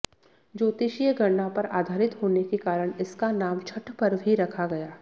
ज्योतिषीय गणना पर आधारित होने के कारण इसका नाम छठ पर्व ही रखा गया